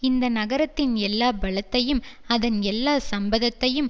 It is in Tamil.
இந்த நகரத்தின் எல்லா பலத்தையும் அதன் எல்லா சம்பத்தையும்